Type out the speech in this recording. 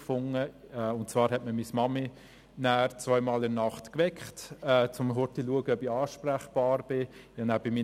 Ich konnte bei meinen Eltern in der Nähe übernachten, und meine Mutter weckte mich in der Nacht zweimal, um kurz zu schauen, ob ich ansprechbar bin.